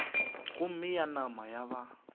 gomme ya nama ya ba